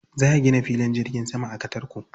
Za a gina filin jirgin sama a Katarko.